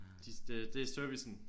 De det det er servicen